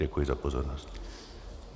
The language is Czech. Děkuji za pozornost.